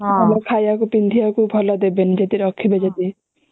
ଭଲ ଖାଇ ବାକୁ ପିନ୍ଧିବା କୁ ଦେବେନି ରଖିବେ ଯଦି